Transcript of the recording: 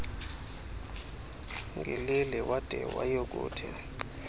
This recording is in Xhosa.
ngeleli wade wayokuthi